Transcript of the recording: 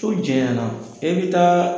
So jɛɲɛna, e bɛ taa